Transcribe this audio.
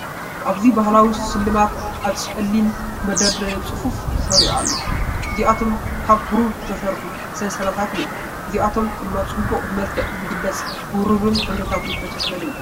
ኣብዚ ባህላዊ ስልማት ኣብ ጸሊም መደርደሪ ብጽፉፍ ተሰሪዑ ኣሎ። እዚኣቶም ካብ ብሩር እተሰርሑ ሰንሰለታት እዮም። እዚኣቶም ድማ ጽባቐ ብመልክዕ ዝግለጽ፡ ብብሩርን ሕብርታትን ዝተሸፈነ እዩ። .